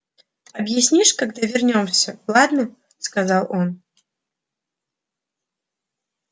объяснишь когда вернёмся ладно сказал он